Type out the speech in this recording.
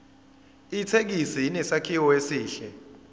ithekisi inesakhiwo esihle